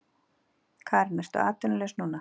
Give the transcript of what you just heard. Karen: Ertu atvinnulaus núna?